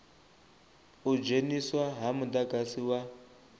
u dzheniswa ha mudagasi wa